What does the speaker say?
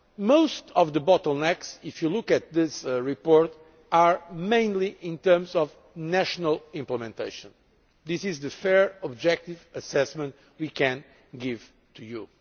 Most of the bottlenecks, if you look at this report, are mainly in terms of national implementation. This is the fair, objective assessment we can give to you.